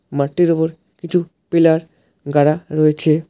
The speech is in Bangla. মাঠটির ওপর কিছু পিলার গাড়া রয়েছে।